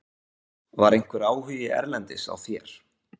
Var einhver áhugi erlendis á þér?